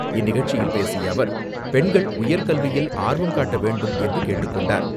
இந்நிகழ்ச்சியில் பேசிய அவர், பெண்கள் உயர்கல்வியில் ஆர்வம் காட்ட வேண்டும் என்று கேட்டுக்கொண்டார்.